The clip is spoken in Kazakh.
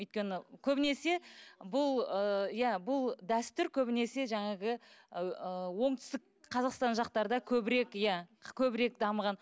өйткені көбінесе бұл ы иә бұл дәстүр көбінесе жаңағы ыыы оңтүстік қазақстан жақтарда көбірек иә көбірек дамыған